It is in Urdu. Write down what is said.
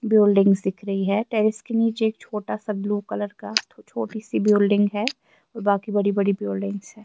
.بلڈنگس دیکھ رہی ہیں ٹیریس کے نیچے ایک چھوٹا سا بلو کلر کا ایک چوٹی سی بلڈنگ ہیں باکی بدی بدی بلڈنگس ہیں